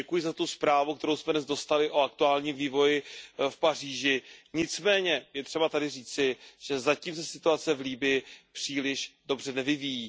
Děkuji za tu zprávu, kterou jsme dnes dostali o aktuálním vývoji v Paříži. Nicméně je třeba tady říci, že zatím se situace v Libyi příliš dobře nevyvíjí.